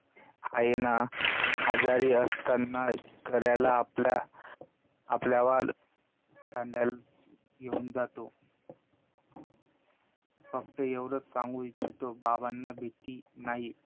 आहे ना, आजारी असताना, आपल्याला खांद्यावर घेऊन जातो. फक्त एवढच सांगू इच्छितो, बाबांना भीती नाही